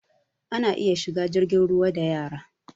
Ana iya shiga jirgin ruwa da yara